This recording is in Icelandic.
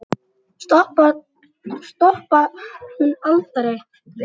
Stoppar hún aldrei?